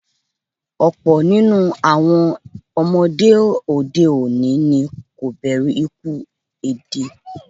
Ọ̀pọ̀ ninu awọn ọmọde òde òní ni kò bẹ̀rù ikuú èdè